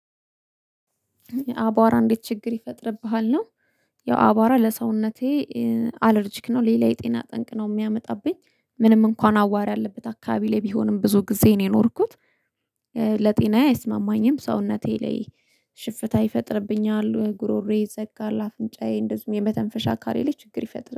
"የአቧራ እንዴት ችግር ይፈጥርብሃል?" ነው። ያው አቧራ ለሰውነቴ አለርጂክ ነው ሌላ የጤና ጠንቅ ነው የሚያመጣብኝ። ምንም እንኳን አዋሪ ያለበት አካባቢ ላይ ቢሆንም ብዙ ጊዜዬን የኖርኩት፤ ለጤናዬ አይስማማኝም። ሰውነቴ ላይ ሽፍታ ይፈጥርብኛል፣ ጉሮሮዬ ይዘጋል፣ አፍንጫዬ እንደዚሁም የመተንፈሻ አካሌ ላይ ችግር ይፈጥራል።